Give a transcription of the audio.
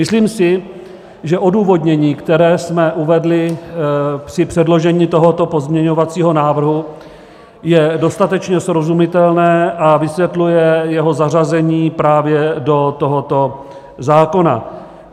Myslím si, že odůvodnění, které jsme uvedli při předložení tohoto pozměňovacího návrhu, je dostatečně srozumitelné a vysvětluje jeho zařazení právě do tohoto zákona.